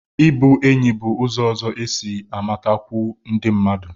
Ịbụ enyi bụ ụzọ ọzọ isi matakwuo ndị mmadụ